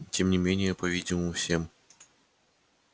и тем не менее по-видимому всем